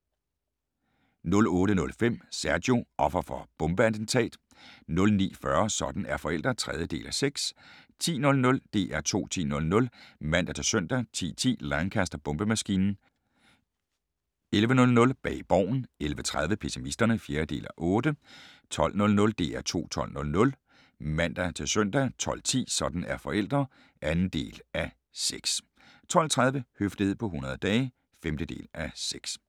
08:00: DR2 8:00 (man-søn) 08:05: Sergio – offer for bombeattentat 09:40: Sådan er forældre (3:6) 10:00: DR2 10.00 (man-søn) 10:10: Lancaster-bombemaskinen 11:00: Bag Borgen 11:30: Pessimisterne (4:8) 12:00: DR2 12.00 (man-søn) 12:10: Sådan er forældre (2:6) 12:30: Høflighed på 100 dage (5:6)